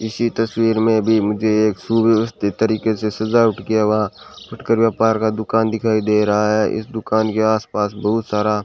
इसी तस्वीर में भी मुझे एक सुव्यवस्थित तरीके से सजावट किया हुआ का दुकान दिखाई दे रहा है इस दुकान के आस पास बहुत सारा --